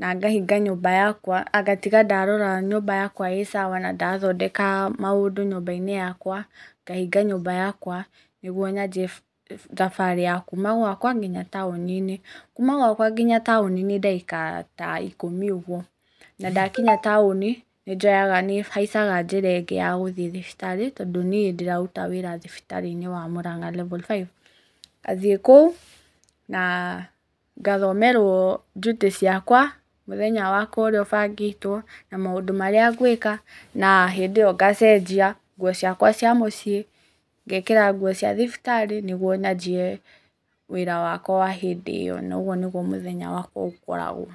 na ngahinga nyũmba yakwa, ngatiga ndarora nyũmba yakwa ĩ cawa na ndathondeka maũndũ nyũmba-inĩ yakwa, ngahinga nyũmba yakwa nĩguo nyanjie thabarĩ ya kuma gwakwa nginya taũni-inĩ. Kuma gwakwa nginya taũni nĩ ndagĩka ta ikũmi ũguo, na ndakinya taũni, nĩnjoyaga, nĩhaicaga njĩra ĩngĩ yagũthiĩ thibitarĩ, tondũ niĩ ndĩraruta wĩra thibitarĩ-inĩ wa Mũrang'a level five. Ngathiĩ kũu na ngathomerwo njutĩ ciakwa, mũthenya wakwa ũrĩa ũbangĩtwo, na maũndũ marĩa nwĩka, na hĩndĩ ĩyo ngacenjia nguo ciakwa cia mũciĩ, ngekĩra cia thibitarĩ nĩguo nyanjie wĩra wakwa wa hĩndĩ ĩyo, na ũguo nĩguo mũthenya wakwa ũkoragwo.